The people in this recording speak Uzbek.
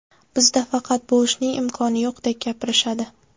Bizda faqat bu ishning imkoni yo‘qdek gapirishadi.